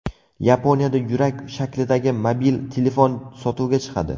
Yaponiyada yurak shaklidagi mobil telefon sotuvga chiqadi.